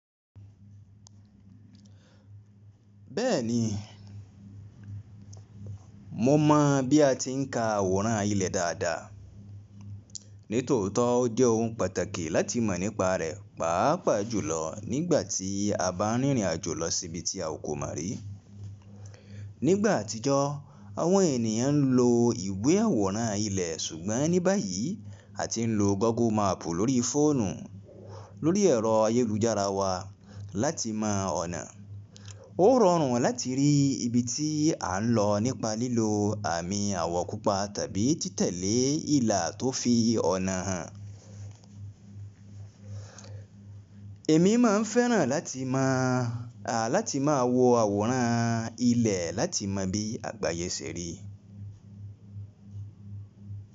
Bẹ́ẹ̀ni, mo mọ̀ bí a ti ń ka àwòrán ilẹ̀ dáadáa. Nítòótọ́ ó jẹ́ ohun pàtàkì láti mọ̀ nípa rẹ̀, pàápàá jùlọ nígbà tí a bá ń rìnrìn àjò lọ sí ibi tí a kò mọ̀ rí. Nígbà àtijọ́ àwọn ènìyàn ń lo ìwé àwòrán ilẹ̀ ṣùgbọ́n ní báyìí a ti ń lo Google Map lórí fóònù lórí ẹ̀rọ ayélujára wa láti mọ ọ̀nà. Ó rọrùn láti rí ibi tí à ń lọ nípa lílo àmì àwọ̀ pupa tàbí títẹ̀lé ìlà tó fi ọ̀nà hàn. Èmi máa ń fẹ́ràn láti mọ̀, à láti máa wo àwòrán ilẹ̀ láti mọ̀ bí àgbáyé ṣe rí.